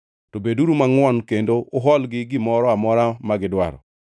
To beduru mangʼwon kendo uholgi gimoro amora magidwaro.